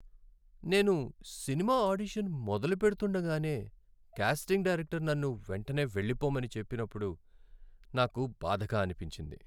నేను cinema audition మొదలు పెడుతుండగానే కాస్టింగ్ డైరెక్టర్ నన్ను వెంటనే వెళ్లిపొమ్మని చెప్పినప్పుడు నాకు బాధగా అనిపించింది.